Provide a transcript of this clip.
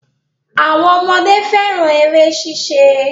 Àwọn ọmọdé fẹ́ran eré ṣíṣe